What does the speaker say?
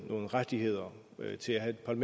nogen rettigheder til at have et